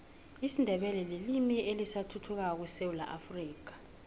isindebele lilimi elisathuthukako esewula afrika